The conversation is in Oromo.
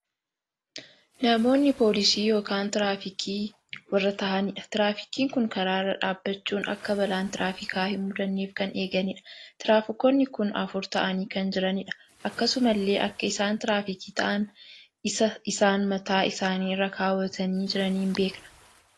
Namoonni poolisii ykn tiraafikii warra taahaniidha. tiraafikiin kun karaa irra dhaabbachuun akka balaan tiraafika hin mudanneef kan eeganiidha. tiraafikoonni kun afur taa'anii kan jiraniidha. akkasumallee akka isaan tiraafikii taa'an isa isaan mataa isaanii irra kaawwatanii jiraniin beekna.